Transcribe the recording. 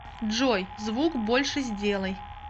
джой звук больше сделай